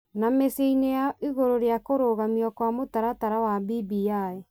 na mĩciĩ-inĩ yao igũrũ rĩa kũrũgamio kwa mũtaratara wa BBI.